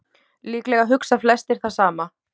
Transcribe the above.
Líklega hugsa flestir það sama.